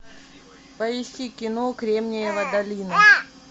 поищи кино кремниевая долина